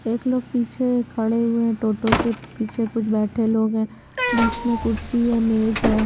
एक लोग पीछे खड़े हुए है टोटो के पीछे कुछ बैठे लोग है बीच में कुर्सी हैं मेज है।